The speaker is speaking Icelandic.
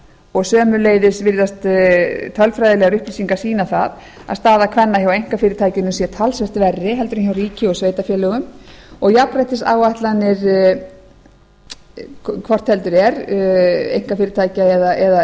og sömuleiðis virðast tölfræðilegar upplýsingar sýna það að staða kvenna hjá einkafyrirtækjunum sé talsvert verri heldur en hjá ríki og sveitarfélögum og jafnréttisáætlanir hvort heldur er einkafyrirtækja